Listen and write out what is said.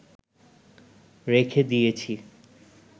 রেখে দিয়েছি